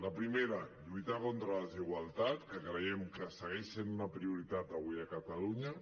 el primer lluitar contra la desigualtat que creiem que segueix sent una prioritat avui a catalunya